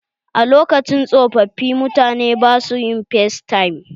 A lokacin tsofaffi, mutane ba su yin facetime.